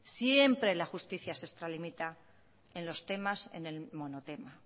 siempre la justicia se extralimita en los temas en el monotema